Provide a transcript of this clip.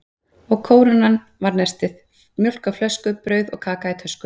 Og kórónan var nestið: mjólk á flösku, brauð og kaka í tösku.